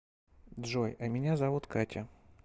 джой а меня зовут катя